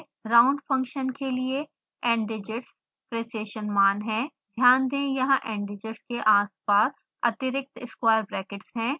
round function के लिए ndigits precision मान है